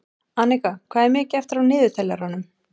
Anika, hvað er mikið eftir af niðurteljaranum?